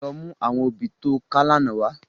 Lò mú áwòn óbì tó ká làná wá